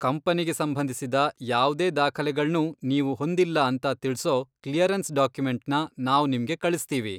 ಕಂಪನಿಗೆ ಸಂಬಂಧಿಸಿದ ಯಾವ್ದೇ ದಾಖಲೆಗಳ್ನೂ ನೀವು ಹೊಂದಿಲ್ಲ ಅಂತ ತಿಳ್ಸೋ ಕ್ಲಿಯರೆನ್ಸ್ ಡಾಕ್ಯುಮೆಂಟ್ನ ನಾವ್ ನಿಮ್ಗೆ ಕಳಿಸ್ತೀವಿ.